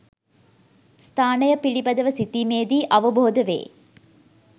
ස්ථානය පිළිබඳව සිතීමේදී අවබෝධ වේ.